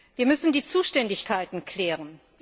Wir müssen die Zuständigkeiten klären.